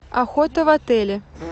охота в отеле